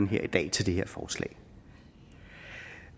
her i dag til det her forslag